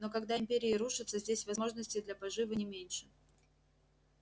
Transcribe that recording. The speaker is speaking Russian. но когда империи рушатся здесь возможности для поживы не меньше